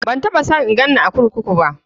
Ban taɓa son in ganni a kurkuku.